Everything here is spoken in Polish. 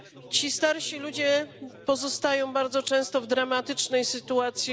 Ci starsi ludzie pozostają bardzo często w dramatycznej sytuacji.